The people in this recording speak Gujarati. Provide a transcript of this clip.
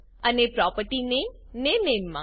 અને પ્રોપર્ટી નામે ને નામે માં